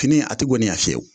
Fini a tɛ goniya fiyewu